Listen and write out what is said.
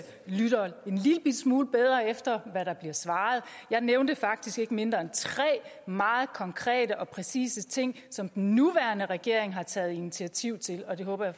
lytter en lillebitte smule bedre efter hvad der bliver svaret jeg nævnte faktisk ikke mindre end tre meget konkrete og præcise ting som den nuværende regering har taget initiativ til og det håber jeg